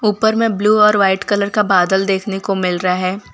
उपर में ब्लू और वाइट कलर का बादल देखने को मिल रहा है।